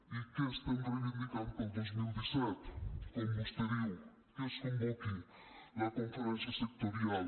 i què estem reivindicant per al dos mil disset com vostè diu que es convoqui la conferència sectorial